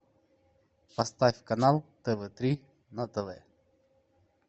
поставь канал тв три на тв